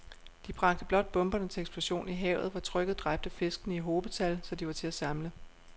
De bragte blot bomberne til eksplosion i havet, hvor trykket dræbte fiskene i hobetal, så de var til at samle